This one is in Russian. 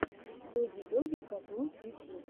доги доги катунс ютьюб